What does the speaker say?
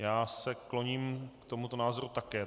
Já se kloním k tomuto názoru také.